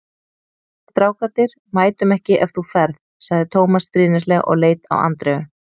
Við strákarnir mætum ekki ef þú ferð sagði Tómas stríðnislega og leit á Andreu.